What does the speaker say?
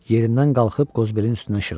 Yerindən qalxıb Qozbelin üstünə şığıdı.